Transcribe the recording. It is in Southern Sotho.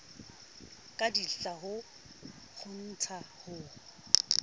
ka ditlha ho kgontsha ho